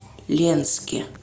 ленске